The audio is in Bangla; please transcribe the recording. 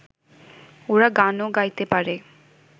ওরা গানও গাইতে পারে